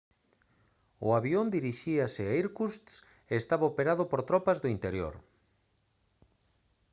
o avión dirixíase a irkutsk e estaba operado por tropas do interior